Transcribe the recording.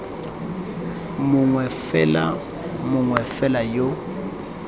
mongwe fela mongwe fela yo